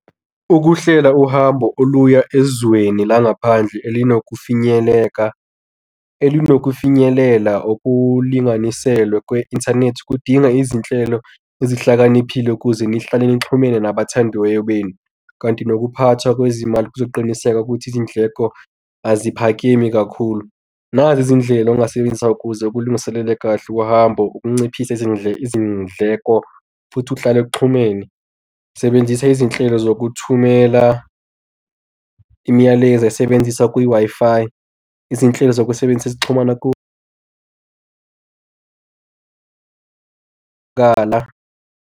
Ukuhlela uhambo oluya ezweni langaphandle elinokufinyeleka elinokufinyelela okulinganiselwe kwe-inthanethi kudinga izinhlelo ezihlakaniphile ukuze nihlale nixhumene nabathandiweyo benu. Kanti nokuphathwa kwezimali kuzoqinisekisa ukuthi izindleko aziphakeme kakhulu. Nazi izindlela ongasebenzisa kuze ukulungiselela kahle uhambo ukunciphisa izindleko futhi uhlale kuxhumene. Sebenzisa izinhlelo zokuthumela, imiyalezo esebenzisa kwi-Wi-Fi. Izinhlelo zokusebenzisa ezixhumana .